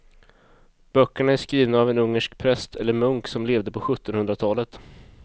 Böckerna är skrivna av en ungersk präst eller munk som levde på sjuttonhundratalet.